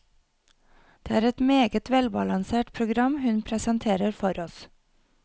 Det er et meget velbalansert program hun presenterer for oss.